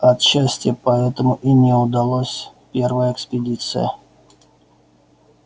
отчасти поэтому и не удалась первая экспедиция